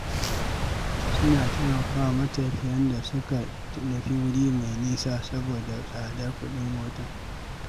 Suna taimaka wa matafiyan da suka nufi wuri mai nisa saboda tsadar kuɗin mota.